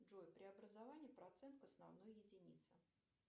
джой преобразование процент к основной единице